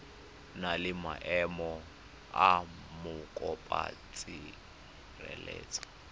na le maemo a mokopatshireletso